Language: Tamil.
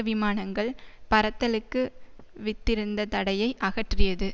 விமானங்கள் பறத்தலுக்கு வித்திருந்த தடையை அகற்றியது